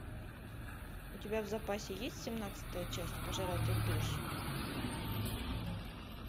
у тебя в запасе есть семнадцатая часть пожиратель душ